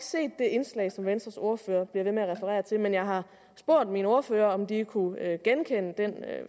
indslag som venstres ordfører bliver ved med at referere til men jeg har spurgt mine ordførere om de kunne genkende den